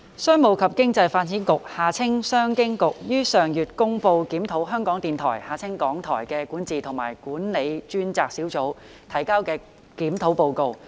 商務及經濟發展局於上月公布檢討香港電台的管治及管理專責小組提交的《檢討報告》。